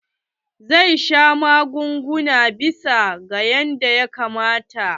Zai sha magunguna bisa ga yanda ya kamata.